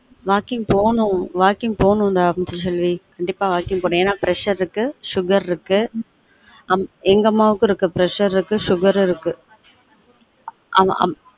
walking போனும் walking போனும் டா முத்து செல்வி கண்டீப்பா walking போனும் ஏன்னா pressure இருக்கு sugar இருக்கு எங்க அம்மாவுக்கும் இருக்கு pressure இருக்கு sugar இருக்கு ஆம ஆமா